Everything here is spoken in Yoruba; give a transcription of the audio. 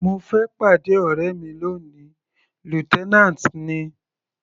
Mo fẹ́ pàdé ọ̀rẹ́ mi lóni, lieutenant ni.